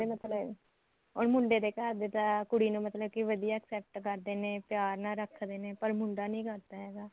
ਤੇ ਮਤਲਬ ਹੁਣ ਮੁੰਡੇ ਦੇ ਘਰ ਦੇ ਤਾਂ ਕੁੜੀ ਨੂੰ ਮਤਲਬ ਕਿ ਵਧੀਆ accept ਕਰਦੇ ਨੇ ਪਿਆਰ ਨਾਲ ਰੱਖਦੇ ਨੇ ਪਰ ਮੁੰਡਾ ਨਹੀਂ ਕਰਦਾ ਹੈਗਾ